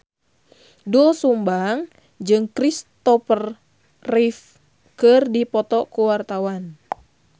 Doel Sumbang jeung Kristopher Reeve keur dipoto ku wartawan